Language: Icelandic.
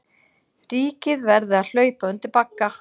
Ríkið verði að hlaupa undir bagga